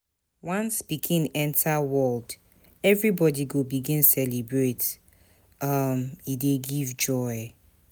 Once pikin enta world, everybodi go begin celebrate, um e dey give joy.